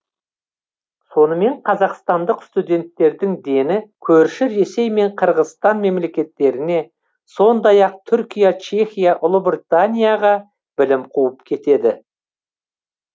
сонымен қазақстандық студенттердің дені көрші ресей мен қырғызстан мемлекеттеріне сондай ақ түркия чехия ұлыбританияға білім қуып кетеді